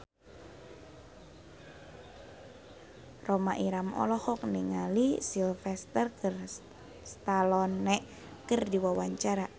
Rhoma Irama olohok ningali Sylvester Stallone keur diwawancara